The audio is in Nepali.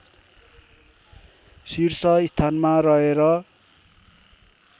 शीर्षस्थानमा रहे र